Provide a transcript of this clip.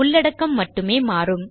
உள்ளடக்கம் மட்டுமே மாறும்